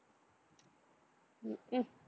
உம் ஹம்